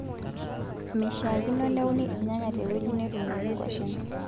Meishaakino neuni irnyanya te wueji netuunieki nkuashen.